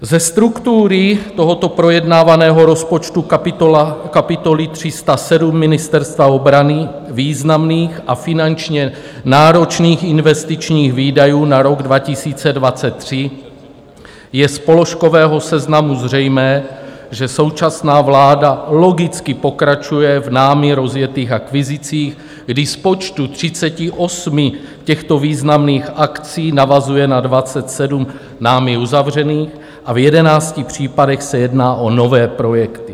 Ze struktury tohoto projednávaného rozpočtu kapitoly 307 Ministerstva obrany, významných a finančně náročných investičních výdajů na rok 2023, je z položkového seznamu zřejmé, že současná vláda logicky pokračuje v námi rozjetých akvizicích, kdy z počtu 38 těchto významných akcí navazuje na 27 námi uzavřených a v 11 případech se jedná o nové projekty.